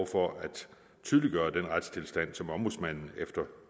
for at tydeliggøre den retstilstand som ombudsmanden efter